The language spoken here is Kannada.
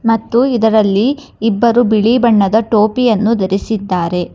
ಮತ್ತು ಇದರಲ್ಲಿ ಇಬ್ಬರು ಬಿಳಿ ಬಣ್ಣದ ಟೋಪಿಯನ್ನು ಧರಿಸಿದ್ದಾರೆ.